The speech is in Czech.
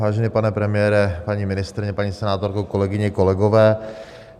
Vážený pane premiére, paní ministryně, paní senátorko, kolegyně, kolegové.